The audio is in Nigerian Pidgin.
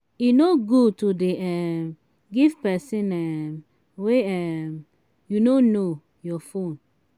e no good to dey um give person um wey um you no know your phone.